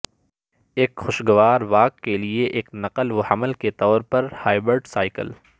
ایک خوشگوار واک کے لئے ایک نقل و حمل کے طور پر ہائبرڈ سائیکل